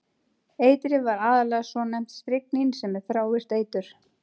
Eitrið var aðallega svonefnt stryknín sem er þrávirkt eitur.